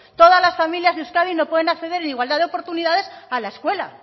todas las familias de euskadi no pueden acceder en igualdad de oportunidades a la escuela